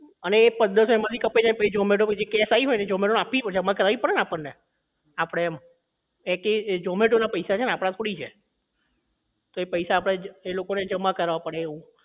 અને એ પંદરસો એમાં થી કપાઈ જાય અને પછી zomato માં થી જે cash આયી હોય zomato માં આપવી પડે zomato માં જમા કરાવી પડે ને આપડે આપડે એમ એ થી zomato ના પૈસા છે આપડા થોડી છે તો એ પૈસા આપડે એ લોકો ને જમા કરવા પડે